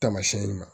Tamasiyɛn ma